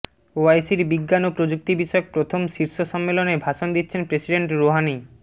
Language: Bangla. ওআইসির বিজ্ঞান ও প্রযুক্তি বিষয়ক প্রথম শীর্ষ সম্মেলনে ভাষণ দিচ্ছেন প্রেসিডেন্ট রুহানি